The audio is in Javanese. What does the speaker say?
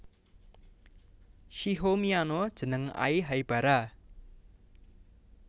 Shiho miyano jeneng Ai Haibara